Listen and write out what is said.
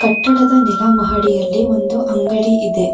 ಕಟ್ಟಡದ ನೆಲಮಹಡಿಯಲ್ಲಿ ಒಂದು ಅಂಗಡಿ ಇದೆ.